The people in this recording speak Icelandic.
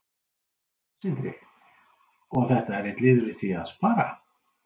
Sindri: Og þetta er einn liður í því að spara?